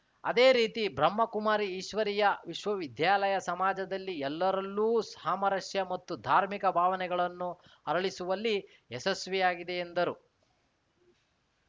ಅದೇ ರೀತಿ ಬ್ರಹ್ಮ ಕುಮಾರಿ ಈಶ್ವರಿಯ ವಿಶ್ವವಿದ್ಯಾಲಯ ಸಮಾಜದಲ್ಲಿ ಎಲ್ಲರಲ್ಲೂ ಸಾಮರಸ್ಯ ಮತ್ತು ಧಾರ್ಮಿಕ ಭಾವನೆಗಳನ್ನು ಅರಳಿಸುವಲ್ಲಿ ಯಶಸ್ವಿಯಾಗಿದೆ ಎಂದರು